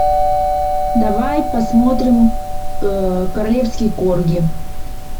давай посмотрим королевский корги